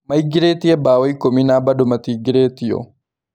Maĩngĩrĩtie mbao ĩkũmi na bado matiingĩrĩtio.